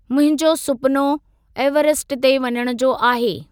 मुंहिंजो सुपिनो एवरेस्ट ते वञण जो आहे।